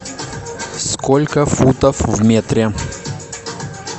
сколько футов в метре